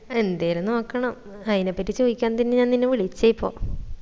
എന്തേലും നോക്കണം അയിന പറ്റി ചോയ്ക്കാൻ തന്നെ ഞാൻ നിന്നെ വിളിച്ചേ ഇപ്പോ